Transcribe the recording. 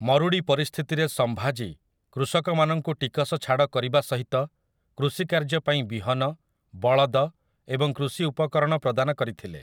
ମରୁଡ଼ି ପରିସ୍ଥିତିରେ ସମ୍ଭାଜୀ କୃଷକମାନଙ୍କୁ ଟିକସ ଛାଡ଼ କରିବା ସହିତ କୃଷି କାର୍ଯ୍ୟ ପାଇଁ ବିହନ, ବଳଦ ଏବଂ କୃଷି ଉପକରଣ ପ୍ରଦାନ କରିଥିଲେ ।